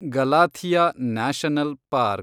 Galathea national park